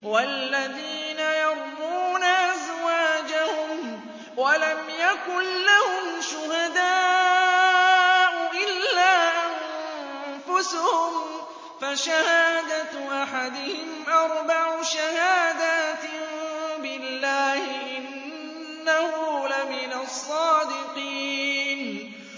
وَالَّذِينَ يَرْمُونَ أَزْوَاجَهُمْ وَلَمْ يَكُن لَّهُمْ شُهَدَاءُ إِلَّا أَنفُسُهُمْ فَشَهَادَةُ أَحَدِهِمْ أَرْبَعُ شَهَادَاتٍ بِاللَّهِ ۙ إِنَّهُ لَمِنَ الصَّادِقِينَ